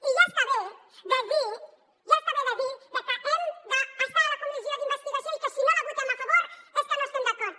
i ja està bé de dir ja està bé de dir que hem d’estar a la comissió d’investigació i que si no hi votem a favor és que no hi estem d’acord